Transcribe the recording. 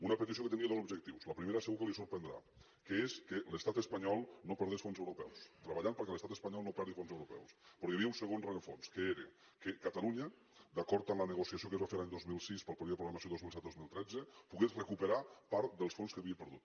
una petició que tenia dos objectius el primer segur que li sorprendrà que és que l’estat espanyol no perdés fons europeus treballar perquè l’estat espanyol no perdi fons europeus però hi havia un segon rerefons que era que catalunya d’acord amb la negociació que es va fer l’any dos mil sis per al període de programació dos mil set dos mil tretze pogués recuperar part dels fons que havia perdut